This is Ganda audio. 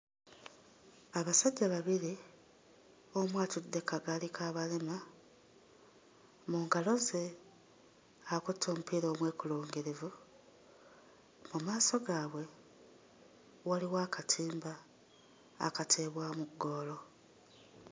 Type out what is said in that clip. Abasajja babiri omu atudde kagaali k'abalema mu ngalo ze akutte omupiira omwekulungirivu, mu maaso gaabwe waliwo akatimba akateebwamu ggoolo.